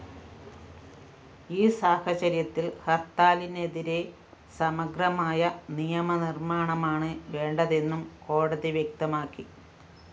ഈ സാഹചര്യത്തില്‍ ഹര്‍ത്താലിനെതിരെ സമഗ്രമായ നിയമനിര്‍മ്മാണമാണ് വേണ്ടതെന്നും കോടതി വ്യക്തമാക്കി